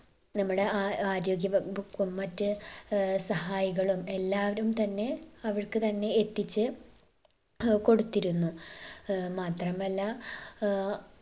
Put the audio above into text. നമ്മുടെ ആ ആരോഗ്യവകുപ്പും മറ്റ് ഏർ സഹായികളും എല്ലാവരും തന്നെ അവർക്ക് തന്നെ എത്തിച്ച് ഏർ കൊടുത്തിരുന്നു ഏർ മാത്രമല്ല ഏർ